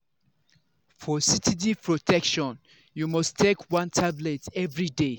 for steady protection you must take one tablet everyday.